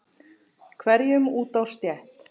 hverjum út á stétt.